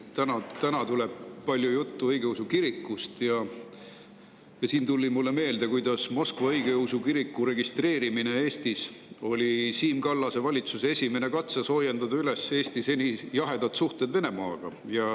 Täna tuleb palju juttu õigeusu kirikust ja siin tuli mulle meelde, kuidas Moskva õigeusu kiriku registreerimine Eestis oli Siim Kallase valitsuse esimene katse soojendada üles Eesti seni jahedad suhted Venemaaga.